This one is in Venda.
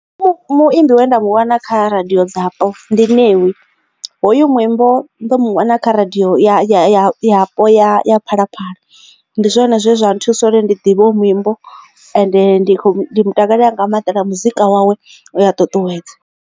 Muimbi we nda mu wana kha radio dzapo ndi Ṋewi hoyu muimbo nḓo mu wana kha radio ya yapo ya Phalaphala ndi zwone zwe zwa nthusa uri ndi ḓivha hoyu muimbo ende ndi khou ndi mutakalela nga maanda na muzika wawe u ya ṱuṱuwedza.